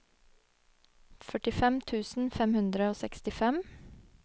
førtifem tusen fem hundre og sekstifem